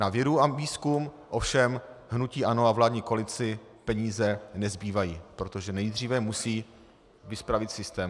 Na vědu a výzkum ovšem hnutí ANO a vládní koalici peníze nezbývají, protože nejdříve musí vyspravit systém.